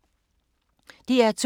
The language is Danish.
DR2